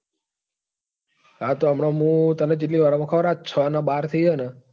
હા તો હમણાં મુ તને કેટલી વાર માં આ છ ને બાર થઇ છે ને?